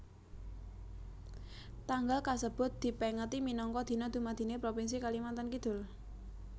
Tanggal kasebut dipèngeti minangka Dina Dumadiné Propinsi Kalimantan Kidul